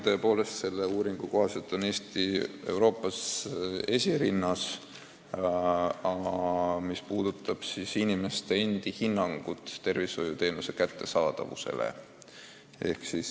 Tõepoolest, ühe uuringu kohaselt on Eesti Euroopas esirinnas inimeste endi halva hinnangu poolest tervishoiuteenuse kättesaadavusele.